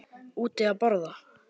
Úti að borða.